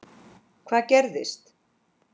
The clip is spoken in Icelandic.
Hvað gerðist?